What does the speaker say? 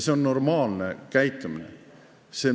See on normaalne käitumine.